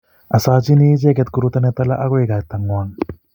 asochini inende koruto ne tala agoi kaitang'wang